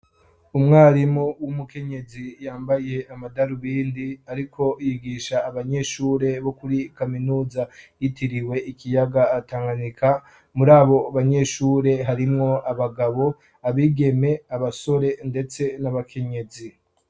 Umwarimu w'umukenyezi yambaye amadarubindi ariko yigisha abanyeshure bo kuri kaminuza yitiriwe ikiyaga Tanganyika, muri abo banyeshure harimwo abagabo, abigeme, abasore ndetse n'abakenyezi.